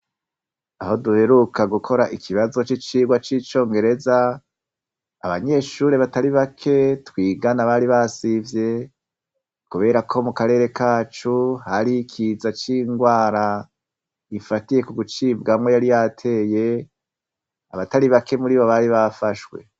Aho duheruka gukora ikibazo c'icirwa c'icongereza abanyeshure batari bake twigana bari basivye, kubera ko mu karere kacu hari ikiza c'indwara ifatiye ku gucibwamwo yari yateye abatari bake muri bo bari bafashwe.